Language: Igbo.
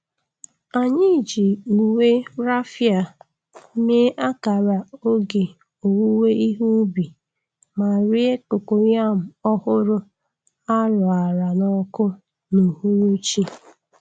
Anyị ji uwe raffia mee akara oge owuwe ihe ubi ma rie cocoyam ọhụrụ a roara n’ọkụ n’uhuruchi.